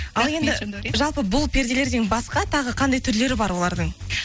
ал енді жалпы бұл перделерден басқа тағы қандай түрлері бар олардың